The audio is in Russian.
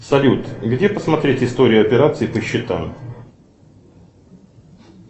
салют где посмотреть историю операций по счетам